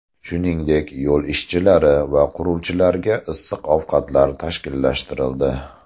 Shuningdek, yo‘l ishchilari va quruvchilarga issiq ovqatlar tashkillashtirildi.